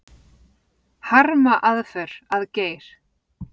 Harma aðför að Geir